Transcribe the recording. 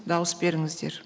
дауыс беріңіздер